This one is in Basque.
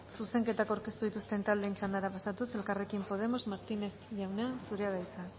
zuzenketak aurkeztu dituzten taldeen txandara pasatuz elkarrekin podemos martínez jauna zurea da hitza